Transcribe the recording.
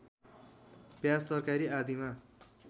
प्याज तरकारी आदिमा